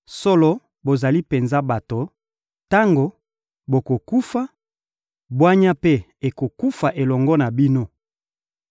«Solo, bozali penza bato; tango bokokufa, bwanya mpe ekokufa elongo na bino!